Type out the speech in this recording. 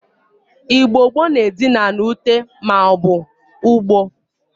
Igbo gbo na Edina na Ute ma obu ugbo.